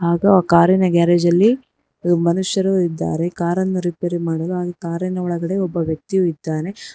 ಆಗು ಆ ಕಾರಿನ ಗ್ಯಾರೇಜ್ ಅಲ್ಲಿ ಮನುಷ್ಯರು ಇದ್ದಾರೆ ಕಾರನ್ನ ರಿಪೇರಿ ಮಾಡಲು ಹಾಗೆ ಕಾರಿನ ಒಳಗಡೆ ಒಬ್ಬ ವ್ಯಕ್ತಿ ಇದ್ದಾನೆ.